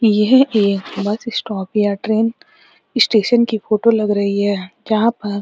यह एक bus stop या ट्रैन इश्टेशन की फोटो लग रहीं है जहां पर --